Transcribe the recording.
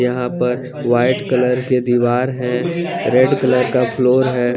यहाँ पर white colour की दिवार है रेड कलर का फ्लोर है।